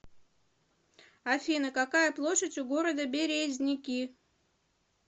афина какая площадь у города березники